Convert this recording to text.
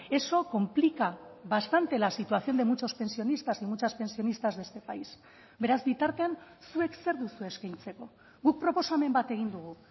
eso complica bastante la situación de muchos pensionistas y muchas pensionistas de este país beraz bitartean zuek zer duzue eskaintzeko guk proposamen bat egin dugu